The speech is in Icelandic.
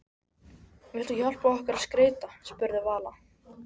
Vilt þú hjálpa okkur að skreyta? spurði Vala.